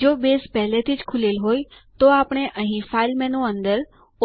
જો બેઝ પહેલાથી જ ખૂલેલ હોય તો આપણે અહીં ફાઇલ મેનૂ અંદર